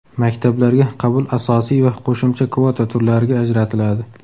Maktablarga qabul asosiy va qo‘shimcha kvota turlariga ajratiladi.